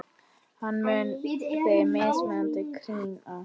Hann mun þig miskunn krýna.